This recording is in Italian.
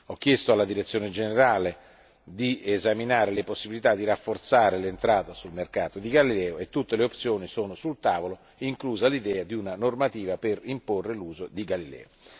Ho chiesto alla Direzione generale di esaminare le possibilità di rafforzare l'entrata sul mercato di Galileo e tutte le opzioni sono sul tavolo, inclusa l'idea di una normativa per imporre l'uso di Galileo.